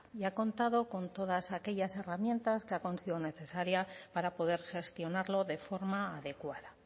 y contado con todas aquellas herramientas que ha considerado necesarias para poder gestionarlo de forma adecuada